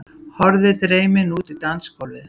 Horfði dreymin út á dansgólfið.